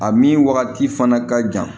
A min wagati fana ka jan